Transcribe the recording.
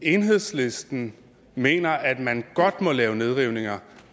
enhedslisten mener at man godt må lave nedrivninger